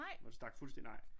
Hvor det stak fuldstændig nej